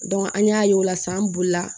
an y'a ye o la san bolila